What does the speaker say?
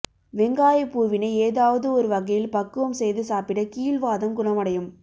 வெங்காயப் பூவினை ஏதாவது ஒரு வகையில் பக்குவம் செய்து சாப்பிட கீழ் வாதம் குணமடையும்